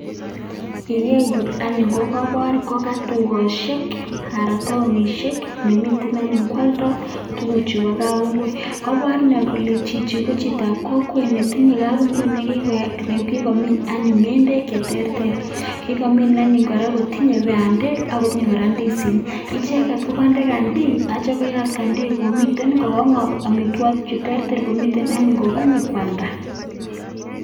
Igeer yu anyun kokaipoor koka dukosiok anan koka taonishek, nemiten anyun kwaldai tuguchu bo kapungui, kapoor inee kole chichi ko chitoab kokwet netinye kapungui nekikomiin anyuun ngendek che terter, kikomiin anyun kotinyei bandek ako tinyei kora ndisinik, icheket kokaindee kandin atyo koyat kandin komiten anyun kokanyor amitwokik cheterter komiten anyun kokappokwalda.